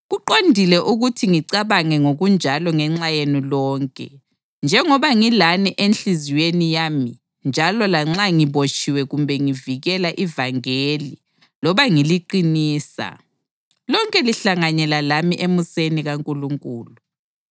Kuqondile ukuthi ngicabange ngokunjalo ngenxa yenu lonke, njengoba ngilani enhliziyweni yami njalo lanxa ngibotshiwe kumbe ngivikela ivangeli loba ngiliqinisa, lonke lihlanganyela lami emuseni kaNkulunkulu.